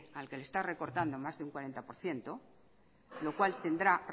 al que le está recortando más de un cuarenta por ciento lo cual tendrá